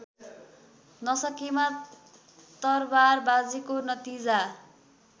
नसकेमा तरवारबाजीको नतिजा